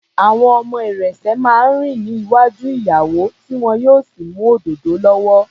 Àwọn ọmọ ìrẹ̀sẹ̀ máa ń rìn ní iwájú ìyàwó tí wọn yóò sì mú òdòdó lọ́wọ́.